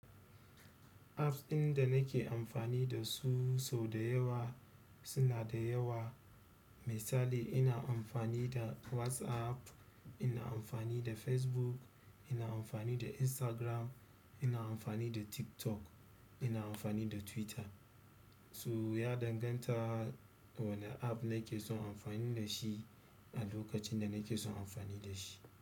Apps ɗin da nake amfani da su sau da yawa suna da yawa. Misali ina amfani da WhatsApp, ina amfani da Facebook, ina amfani da Instagram, ina amfani da TikTok, ina amfani da Twitter. So, ya danganta wanne app na ke son amfani da shi a lokacin da nake son amfani da shi.